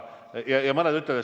Austatud peaminister!